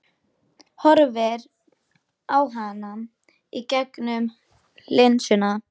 Horfir á hana í gegnum linsuna.